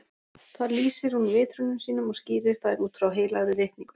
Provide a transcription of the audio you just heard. Þar lýsir hún vitrunum sínum og skýrir þær út frá Heilagri ritningu.